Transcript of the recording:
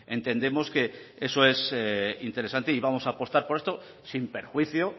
entendemos que eso es interesante y vamos a apostar por esto sin perjuicio